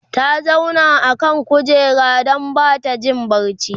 ta zauna a kan kujera Dan Bata Jin barci